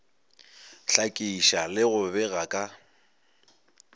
hlakiša le go bega ka